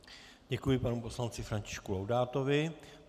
Děkuji panu poslanci Františku Laudátovi.